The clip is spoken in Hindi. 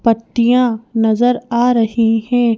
पट्टियां नजर आ रही हैं।